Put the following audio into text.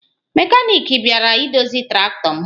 Mekaniki bịara idozi traktọ m